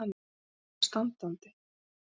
Hann tekur hana standandi.